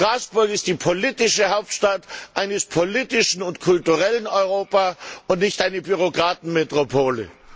Straßburg ist die politische Hauptstadt eines politischen und kulturellen Europa und keine Bürokratenmetropole.